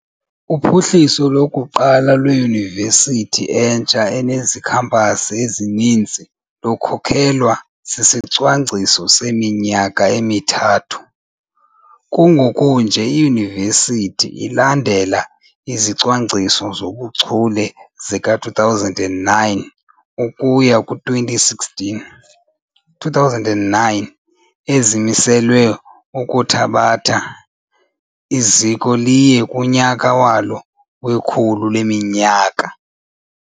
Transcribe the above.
Uphuhliso lokuqala lweyunivesithi entsha enezikhampasi ezininzi lukhokelwa sisicwangciso seminyaka emithathu, kungokunje iyunivesiti ilandela iziCwangciso zoBuchule zika2009 ukuya ku-2016 2009, ezimiselwe ukuthabatha eli ziko liye kunyaka walo wekhulu leminyaka.